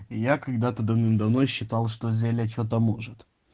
я когда-то давным-давно считал что зелье что-то может